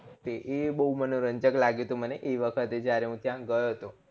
તે એ બૌ મનોરંજક લાગ્યું તું મને જે વખતે જયારે હું ત્યાં ગયો હતો